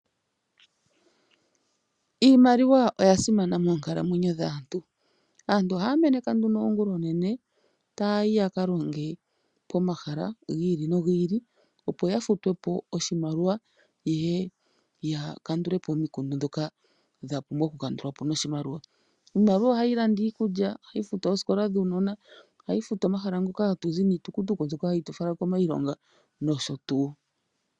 Iimaliwa oya simana moonkalamwenyo dhaantu. Aantu ohaya meneka nduno oongulonene, taya yi yaka longe pomahala gi ili nogi ili, opo ya futwe po oshimaliwa , yeye ya kandule po omikundu ndhoka dha pumbwa oku kandulwa po noshimaliwa. Iimaliwa ohayi landa iikulya, ohayi futu oosikola dhuunona, ohayi futu omahala ngoka hatu zi niitukutuku mbyoka hayi tu fala komailonga nosho tuu.